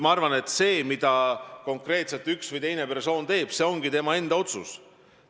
Ma arvan, et see, mida konkreetselt üks või teine persoon teeb, ongi tema enda otsus.